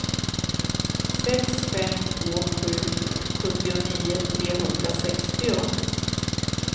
sex fem två sju sjuttionio trehundrasextio